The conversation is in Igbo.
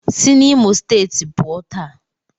Si n'Imo steeti puo, taa!